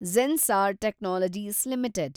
Zensar Technologies limited